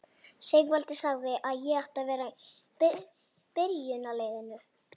Sigvaldi sagði að ég ætti að vera í byrjunarliðinu!